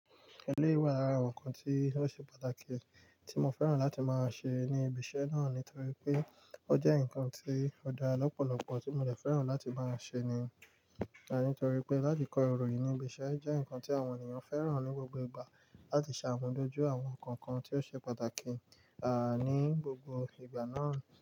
Eléyi wà lára àwọn ǹkan tí ó ṣe pàtàkì tí mo fẹ́ràn láti máa ṣe ní ibi iṣẹ́ náà nítorí pé ó jẹ́ ǹkan tí ó dára lọ́pọ̀lọpọ̀ tí mo fẹ́ràn láti máa ṣe ni, nítorí pé láti kọ iroyìn nibi iṣẹ́ o jẹ́ ǹkan tí àwọn ènìyàn fẹ́ràn ní gbogbo ìgbà láti ṣàmojuto àwọn ǹkan kan tí ó ṣe pàtàkì, ni gbogbo ìgbà náà.